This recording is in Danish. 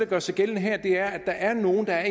gør sig gældende her der er nogle der er